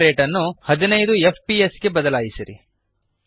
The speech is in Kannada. ಫ್ರೇಮ್ ರೇಟ್ ಅನ್ನು 15 ಎಫ್ಪಿಎಸ್ ಗೆ ಬದಲಾಯಿಸಿರಿ